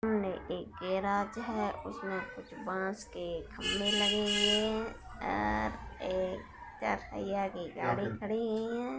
ने एक गेराज है उसमे कुछ बांस के खंबे लगे हुए हैं और एक चार पहिया की गाड़ी खड़ी हुई हैं।